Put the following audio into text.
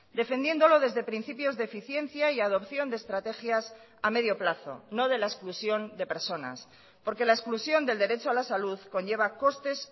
defendiéndolo desde principios de eficiencia y adopción de estrategias a medio plazo no de la exclusión de personas porque la exclusión del derecho a la salud conlleva costes